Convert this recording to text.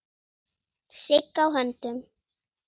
Sigg á höndum.